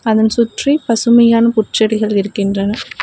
அதன் சுற்றி பசுமையான புற்செடிகள் இருக்கின்றன.